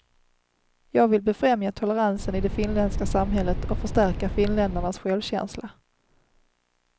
Jag vill befrämja toleransen i det finländska samhället och förstärka finländarnas självkänsla.